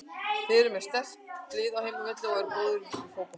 Þeir eru með sterkt lið á heimavelli og eru góðir í fótbolta.